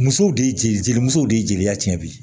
Musow de jeli jeliw de ye jeliya tiɲɛ don